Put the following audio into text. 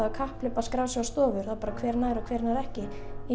er kapphlaup að skrá sig á stofur hver nær og hver ekki í